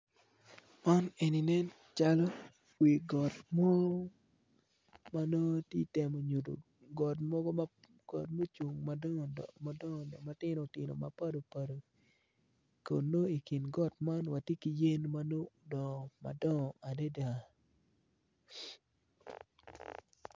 Co aryo co man gitye i yeya dok gin gitye ka mako rec gin gitye ka tic ki goli ma odone tye mabit kun giyuto ki rec piny i kabedo man tye ma ocidde dok tye otyeno mapol tye ka nen makwar kun tye dero pa deng madong tye kutyeno ma ceng opoto woko.